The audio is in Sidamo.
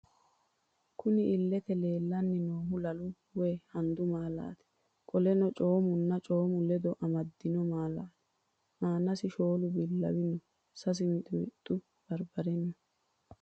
Kunni illete leelani noohu lalu woyi handu maalati qoleno coomino cooma ledo amadino maalati aanasi shoolu bilawu no sass miximixu baribare no.